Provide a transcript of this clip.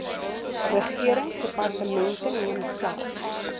regeringsdepartemente neem self